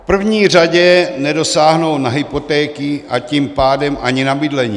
V první řadě nedosáhnou na hypotéky, a tím pádem ani na bydlení.